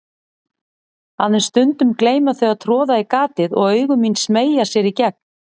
Aðeins stundum gleyma þau að troða í gatið og augu mín smeygja sér í gegn.